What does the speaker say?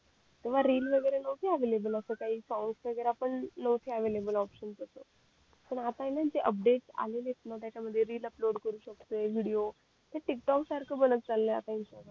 तेव्हा रील वैगरे न होते अव्हेलेबल असे काही साऊंड वैगैरा पण नहोते अव्हेलेबल ऑपशन्स असं पण आता येत न जे अँपडतें आले येत ना त्याच्या मध्ये अँपडतें करू शकतोय विडिओ टिक टोक सारखं बनत चालंय आता इंस्टाग्राम